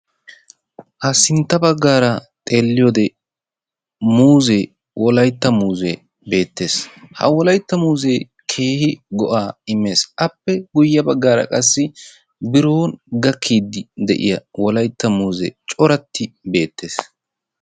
Ha sintta baggaara xeelliyode muuzzee wolaytta muuzzee beettes. Ha wolaytta muuzzee keehi go'aa immes. Appe guyye baggaara qassi biron gakkiiddi de'iya wolaytta muuzzee coratti beettes.